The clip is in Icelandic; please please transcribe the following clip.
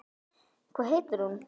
Hvað heitir hún?